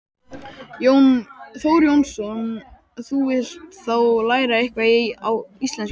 Þór Jónsson: Þú vilt þá læra eitthvað á íslensku?